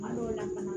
Kuma dɔw la